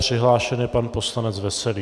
Přihlášen je pan poslanec Veselý.